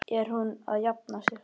Er hún að jafna sig?